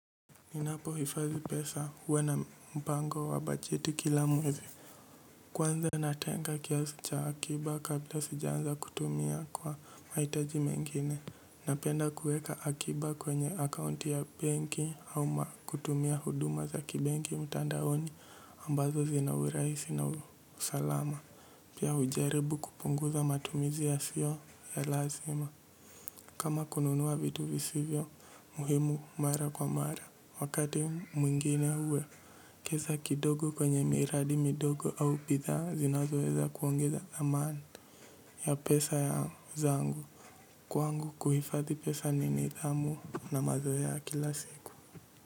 Ninapohifadhi pesa huwa na mpango wa bajeti kila mwezi. Kwanza natenga kiasi cha akiba kabla sijaanza kutumia kwa maitaji mengine. Napenda kueka akiba kwenye akaunti ya benki au kutumia huduma za kibenki mtandaoni ambazo zina urahisi na usalama. Pia hujaribu kupunguza matumizi yasio ya lazima. Kama kununua vitu visivyo muhimu mara kwa mara wakati mwingine huwekeza kidogo kwenye miradi midogo au bidhaa zinazoeza kuongeza dhamana ya pesa ya zangu kwangu kuhifadhi pesa ni nidhamu na mazoea kila siku.